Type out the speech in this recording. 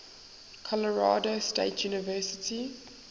colorado state university